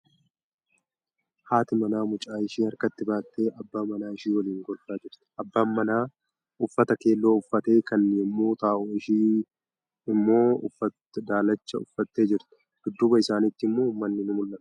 Haati manaa mucaa ishee harkatti baatte abbaa manaa ishee waliin kolfaa jirti. Abbaan manaa uffata keelloo uffatee kan yommuu ta'u, ishee immoouffatw daalacha uffattee jirti. Dudduuba isaaniitti immoo manni ni mul'ata.